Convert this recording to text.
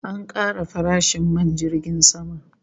An kara farashin man jirgin sama